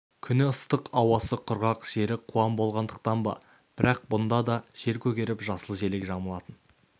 күні ыстық ауасы құрғақ жері қуаң болғандықтан ба бірақ мұнда да жер көгеріп жасыл желек жамылатын